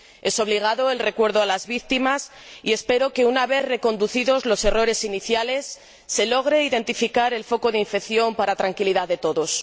Es obligado el recuerdo a las víctimas, y espero que, una vez reconducidos los errores iniciales, se logre identificar el foco de infección para tranquilidad de todos.